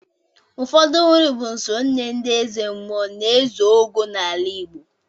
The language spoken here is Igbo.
Ụfọdụ nri bụ nsọ nye ndị ezemmụọ na ezeogo n'ala Igbo.